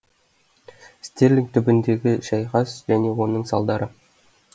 стерлинг түбіндегі шайқас және оның салдары